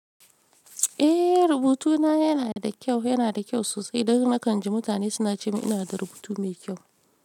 Eh, rubutuna yana da kyau, yana da kyau sosai. Dan nakan ji mutane suna ce mini ina da rubutu mai kyau.